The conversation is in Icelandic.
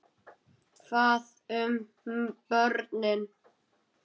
Hvað um börnin?